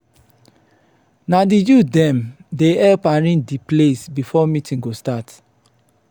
na di youth dem dey help arrange di place before meeting go start.